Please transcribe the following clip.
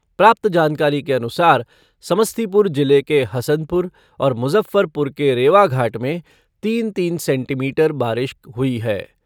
प्राप्त जानकारी के अनुसार समस्तीपुर जिले के हसनपुर और मुजफ़्फ़रपुर के रेवाघाट में तीन तीन सेंटीमीटर बारिश हुई है।